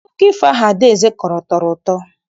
Akụkọ ifo ahụ Adaeze kọrọ tọrọ ụtọ.